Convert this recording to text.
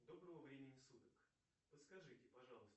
доброго времени суток подскажите пожалуйста